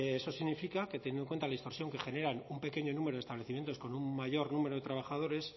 eso significa que teniendo en cuenta la distorsión que generan un pequeño número de establecimientos con un mayor número de trabajadores